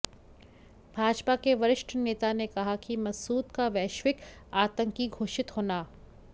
भाजपा के वरिष्ठ नेता ने कहा कि मसूद का वैश्विक आतंकी घोषित होना